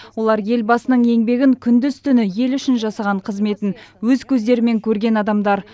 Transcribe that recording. олар елбасының еңбегін күндіз түні ел үшін жасаған қызметін өз көздерімен көрген адамдар